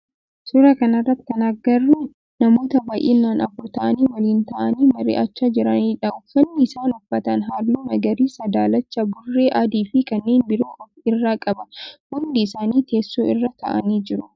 Suuraa kana irratti kan agarru namoota baayinaan afur ta'aan waliin ta'aanii mari'achaa jiranidha. Uffanni isaan uffatan halluu magariisa, daalacha, burree, adii fi kanneen biroo of irraa qaba. Hundi isaanii teessoo irra ta'aani jiru.